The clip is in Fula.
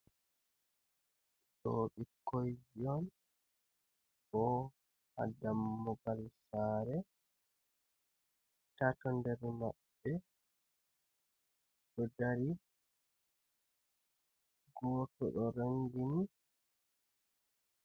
Ɗo ɓikkoji on bo ha dammugal sare tato nder maɓɓe do dari goto do rongini.